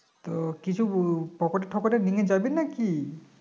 তো কিছু আহ পকেটে টকেটে নিয়ে যাবি নাকি